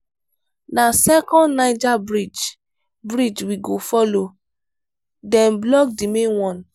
na second niger bridge bridge we go folo dem block di main one.